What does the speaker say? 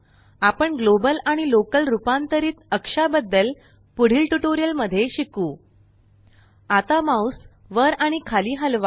आपण ग्लोबल आणि लोकल रुपांतरित अक्षाबद्दल पुढील ट्यूटोरियल मध्ये शिकूltpgt आता माउस वर आणि खाली हलवा